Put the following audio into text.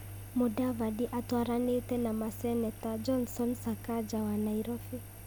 Mũdavadi atwaranĩtĩ na maseneta, Johnson Sakaja wa Nairobi,